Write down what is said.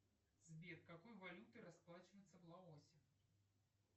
сбер какой валютой расплачиваются в лаосе